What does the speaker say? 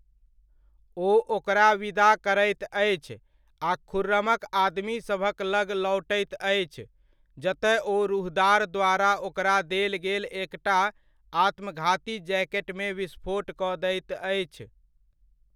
ओ ओकरा विदा करैत अछि आ खुर्रमक आदमीसभक लग लौटैत अछि, जतय ओ रूहदार द्वारा ओकरा देल गेल एकटा आत्मघाती जैकेटमे विस्फोट कऽ दैत अछि।